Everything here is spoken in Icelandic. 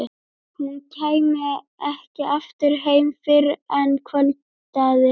Hún kæmi ekki aftur heim fyrr en kvöldaði.